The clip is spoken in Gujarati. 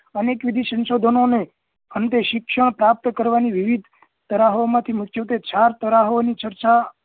અનેક વિધિ સંશોધનો ને અંતે શિક્ષણ પ્રાપ્ત કરવા ની વિવિધ તરાહો માંથી મુખ્યત્વે ચાર તરાહો ની ચર્ચા